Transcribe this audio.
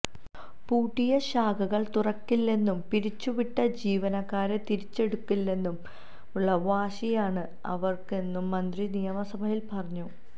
പൂട്ടിയ ശാഖകള് തുറക്കില്ലെന്നും പിരിച്ചുവിട്ട ജീവനക്കാരെ തിരിച്ചെടുക്കില്ലെന്നുമുള്ള വാശിയാണ് അവര്ക്കെന്നും മന്ത്രി നിയമസഭയില് പറഞ്ഞു